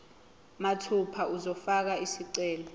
mathupha uzofaka isicelo